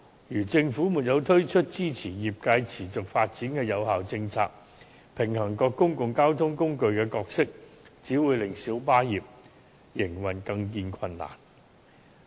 如果政府沒有推出支持業界持續發展的有效政策，平衡各公共交通工具的角色，只會令小巴業的營建更見困難。